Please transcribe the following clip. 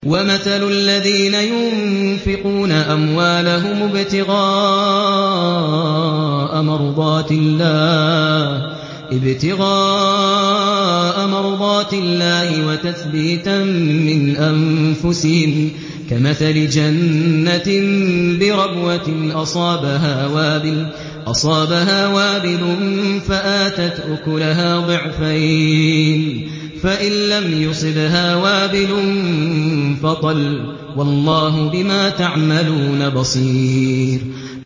وَمَثَلُ الَّذِينَ يُنفِقُونَ أَمْوَالَهُمُ ابْتِغَاءَ مَرْضَاتِ اللَّهِ وَتَثْبِيتًا مِّنْ أَنفُسِهِمْ كَمَثَلِ جَنَّةٍ بِرَبْوَةٍ أَصَابَهَا وَابِلٌ فَآتَتْ أُكُلَهَا ضِعْفَيْنِ فَإِن لَّمْ يُصِبْهَا وَابِلٌ فَطَلٌّ ۗ وَاللَّهُ بِمَا تَعْمَلُونَ بَصِيرٌ